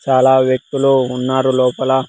చాలా వ్యక్తులు ఉన్నారు లోపల.